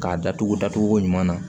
K'a datugu datugu ko ɲuman na